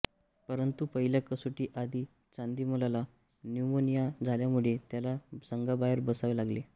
परंतू पहिल्या कसोटी आधी चंदिमलला न्युमोनिया झाल्यामुळे त्याला संघाबाहेर बसावे लागले